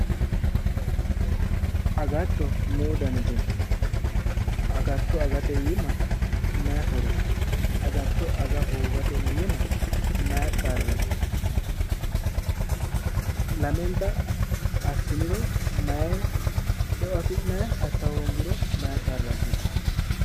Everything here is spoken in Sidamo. Agatto lowo danniti no, agatto agate iima maayi horo no, agatto aga hoogate iima maayi qarri no, lamenta assiniro maayi xeoo afi'nanni assa hoongiro maayi qarra abbittano